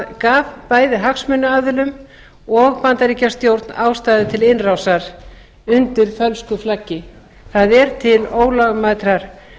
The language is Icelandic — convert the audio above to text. gaf bæði hagsmunaaðilum og bandaríkjastjórn ástæðu til innrásar undir fölsku flaggi það er til ólögmætrar